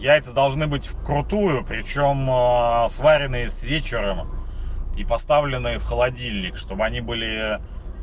яйца должны быть вкрутую причём сваренные с вечера и поставленные в холодильник чтобы они были